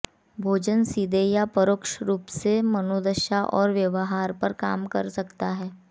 भोजन सीधे या परोक्ष रूप से मनोदशा और व्यवहार पर काम कर सकता है